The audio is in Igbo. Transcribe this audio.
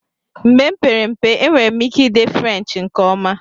Mgbe m kpere mpe, enwere m ike ide French nke ọma